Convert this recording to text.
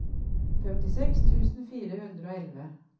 femtiseks tusen fire hundre og elleve